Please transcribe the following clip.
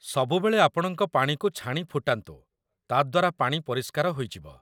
ସବୁବେଳେ ଆପଣଙ୍କ ପାଣିକୁ ଛାଣି ଫୁଟାନ୍ତୁ, ତା'ଦ୍ୱାରା ପାଣି ପରିଷ୍କାର ହୋଇଯିବ